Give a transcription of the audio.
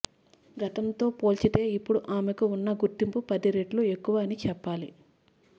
గతంతో పోల్చితే ఇప్పుడు ఆమెకు ఉన్న గుర్తింపు పది రెట్టు ఎక్కువ అని చెప్పాలి